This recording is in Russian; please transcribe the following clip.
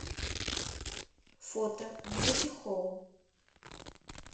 фото бьюти хоум